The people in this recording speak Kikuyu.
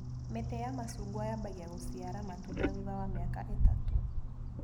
Mĩtĩ ya macungwa yambagia gũciara matunda thutha wa mĩaka ĩtatũ.